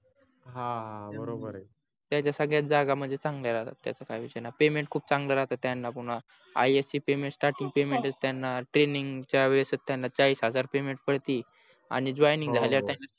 हा बरोबर आहे त्याच्या सगळ्याच जागा म्हणजे चंगल्या राहतात त्याच्या काही विषय नाही payment खूप चांगला राहतात त्यांना पुन्हा ias ची payment startingpayment त्यांणा training च्या वेळेसच त्यांना चाळीस हजार payment पडते आणि joining झाल्या वर त्यांना